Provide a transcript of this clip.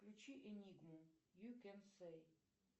включи энигму ю кен сей